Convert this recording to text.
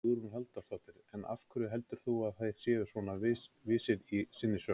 Hugrún Halldórsdóttir: En af hverju heldurðu þá að þeir séu svona vissir í sinni sök?